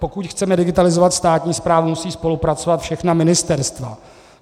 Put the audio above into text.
Pokud chceme digitalizovat státní správu, musí spolupracovat všechna ministerstva.